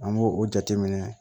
An b'o o jateminɛ